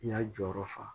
N y'a jɔyɔrɔ fa